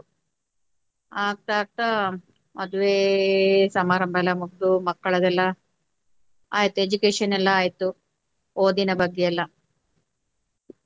ಆಗ್ತಾ ಆಗ್ತಾ ಮದುವೆ ಸಮಾರಂಭ ಎಲ್ಲ ಮುಗುದು ಮಕ್ಕಳದೆಲ್ಲಾ ಆಯ್ತು education ಎಲ್ಲ ಆಯ್ತು ಓದಿನ ಬಗ್ಗೆ ಎಲ್ಲ.